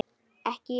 Ekki ég.